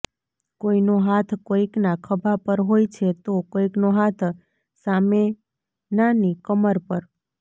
કોઈનો હાથ કોઈકના ખભા પર હોય છે તો કોઈકનો હાથ સામેનાની કમર પર